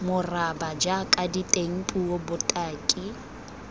moraba jaaka diteng puo botaki